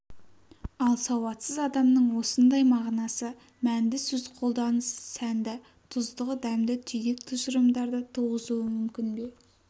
ал сауатсыз адамның осындай мағынасы мәнді сөз қолданысы сәнді тұздығы дәмді түйдек тұжырымдарды туғызуы мүмкін бе